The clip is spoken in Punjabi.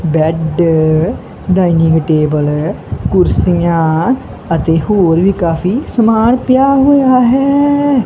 ਬੈਡ ਡਾਈਨਿੰਗ ਟੇਬਲ ਕੁਰਸੀਆਂ ਅਤੇ ਹੋਰ ਵੀ ਕਾਫੀ ਸਮਾਨ ਪਿਆ ਹੋਇਆ ਹੈ।